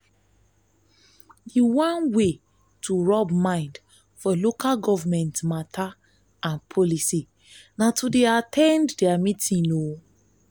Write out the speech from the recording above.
di one wey to rub mind for local government matter and policy na to dey at ten d their meeting